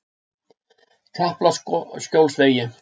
Kaplaskjólsvegi